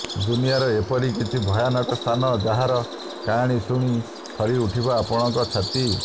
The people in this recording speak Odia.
ଦୁନିଆର ଏପରି କିଛି ଭୟାନକ ସ୍ଥାନ ଯାହାର କାହାଣୀ ଶୁଣି ଥରି ଉଠିବ ଆପଣଙ୍କ ଛାତି